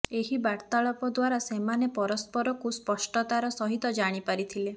ଏହି ବାର୍ତ୍ତାଳାପ ଦ୍ୱାରା ସେମାନେ ପରସ୍ପରକୁ ସ୍ପଷ୍ଟତାର ସହିତ ଜାଣିପାରିଥିଲେ